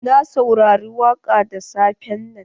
Na saurari waƙa da safen nan.